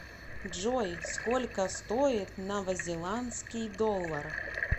джой сколько стоит новозеландский доллар